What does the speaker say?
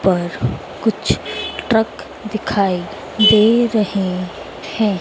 पर कुछ ट्रक दिखाई दे रहे है।